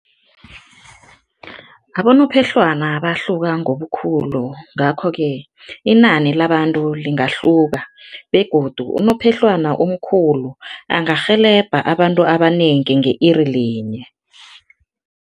Abonophehlwana bahluka ngobukhulu ngakho-ke inani labantu lingahluka begodu unophehlwana omkhulu angarhelebha abantu abanengi nge-iri linye.